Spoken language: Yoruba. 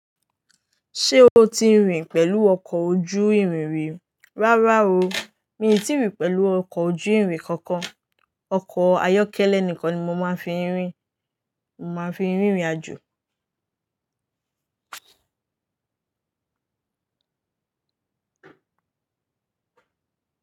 Ṣé o ti rìn pẹ̀lú ọkọ̀ ojú ìrìn rí? Rárá o, mi ò tí rìn pẹ̀lú ọkọ̀ ojú ìrìn kankan. Ọkọ̀ ayọ́kẹ́lẹ́ nìkan ni mo máa ń fi rìn. Mo máa ń fi rìn ìrìnàjò.